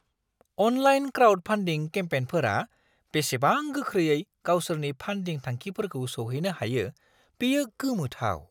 Online crowdfunding केम्पेनफोरा बेसेबां गोख्रैयै गावसोरनि फान्डिं थांखिफोरखौ सौहैनो हायो बेयो गोमोथाव।